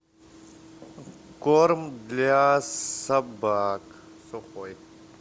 корм для собак сухой